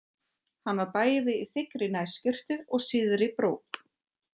Hann var bæði í þykkri nærskyrtu og síðri brók.